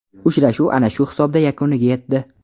Uchrashuv ana shu hisobda yakuniga yetdi.